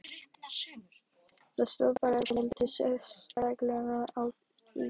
Það stóð bara dálítið sérstaklega á í gær.